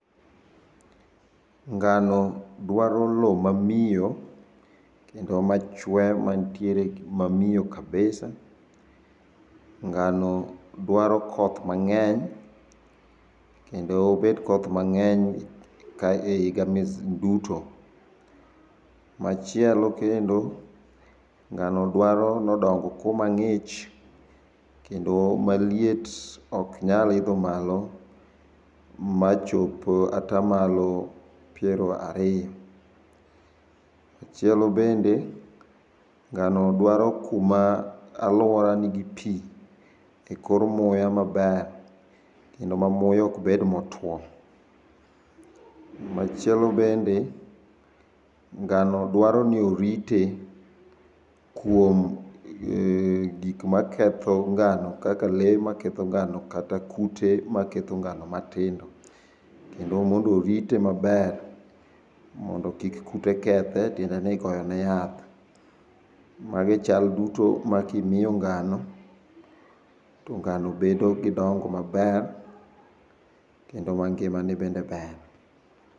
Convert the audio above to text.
Ngano dwaro lowo mamio, kendo machwe mantiere a mamio kabisa. Ngano dwaro koth mang'eny, kendo obed koth mang'eny e kai e iga duto. Machielo kendo, ngano dwaro nodong kuma ng'ich, kendo maliet oknyal idho malo, machop atamlao piero ariyo. Machielo bende, ngano dwaro kuma aluora nigi pii e kor muya maber, kendo mamuya kobed motuo. Machielo bende, ngano dwaro ni orite kuom eeh gik maketho ngano kaka lee maketho ngano kata kute maketho ngano matindo. Kendo mondo orite maber, mondo kik kute kethe tiende ni igoyone yath. Magi chal duto makimio ngano, to ngano bedo gi dongo maber kendo mangima ne bende ber.